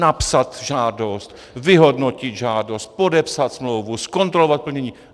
Napsat žádost, vyhodnotit žádost, podepsat smlouvu, zkontrolovat plnění.